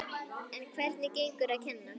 En hvernig gengur að kenna?